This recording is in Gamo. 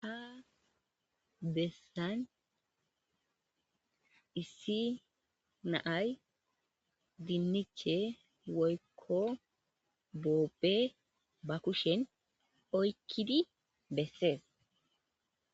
ha bessan issi naay dinniche woykko boobe ba kushen oykkidi bessees